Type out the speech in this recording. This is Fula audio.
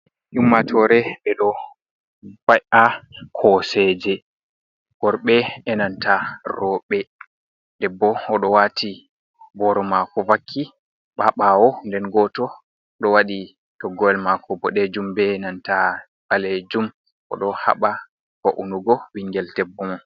Ummatore ɓe ɗo ba'a koseje worɓe enanta roɓe debbo odo wati boro mako vaki ha ɓawo nden goto ɗo wati toggowel mako boɗejum be nanta ɓalejum oɗo haɓa ba’unugo ɓingel debbo mo.